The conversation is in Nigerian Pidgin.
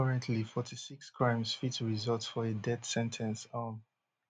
currently forty-six crimes fit result for a death sen ten ce um